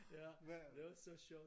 Ja det var så sjovt